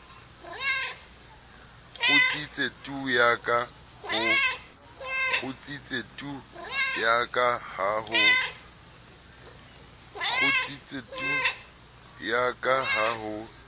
kgutsitse tu yaka ha ho